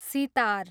sitar